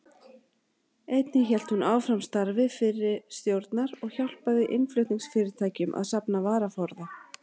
Einnig hélt hún áfram starfi fyrri stjórnar og hjálpaði innflutningsfyrirtækjum að safna varaforða.